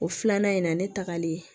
O filanan in na ne tagalen